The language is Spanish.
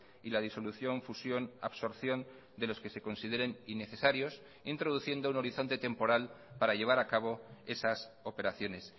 y la disolución fusión absorción de los que se consideren innecesarios introduciendo un horizonte temporal para llevar a cabo esas operaciones